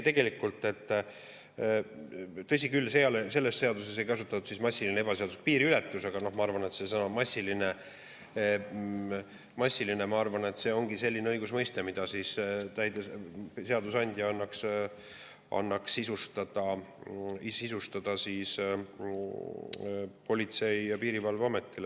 Tegelikult, tõsi küll, selles seaduses ei kasutata terminit "massiline ebaseaduslik piiriületus", aga ma arvan, et "massiline" ongi selline õigusmõiste, mille seadusandja sisustada Politsei- ja Piirivalveametil.